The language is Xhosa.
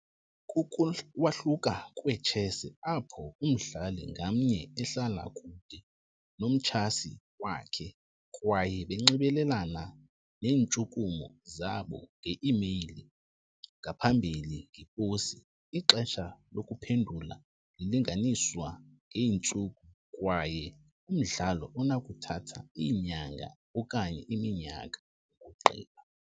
Kukuwahluka kwechess apho umdlali ngamnye ehlala kude nomchasi wakhe kwaye banxibelelana neentshukumo zabo nge-imeyile, ngaphambili ngeposi. Ixesha lokuphendula lilinganiswa ngeentsuku kwaye umdlalo unokuthatha iinyanga okanye iminyaka ukugqiba.